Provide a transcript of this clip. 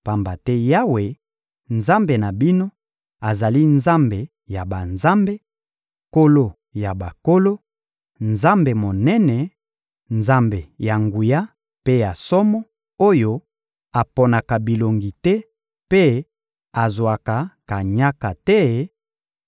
pamba te Yawe, Nzambe na bino, azali Nzambe ya banzambe, Nkolo ya bankolo, Nzambe Monene, Nzambe ya nguya mpe ya somo, oyo aponaka bilongi te mpe azwaka kanyaka te,